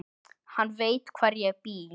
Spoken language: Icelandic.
Hann veit hvar ég bý.